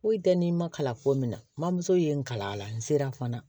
Foyi tɛ n'i ma kalan ko min na mamuso ye n kalan a la n sera fana